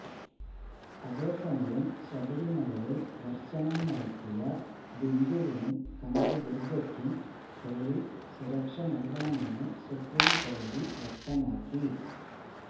അതേസമയം ശബരിമലയില് ദര്ശനം നടത്തിയ ബിന്ദുവിനും കനക ദുര്ഗയ്ക്കും പോലീസ് സുരക്ഷ നല്കണമെന്ന് സുപ്രീംകോടതി വ്യക്തമാക്കി